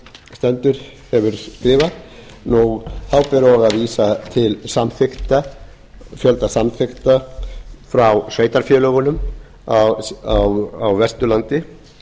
stendur hefur skrifað þá ber og að vísa til fjölda samþykkta frá sveitarfélögunum á vesturlandi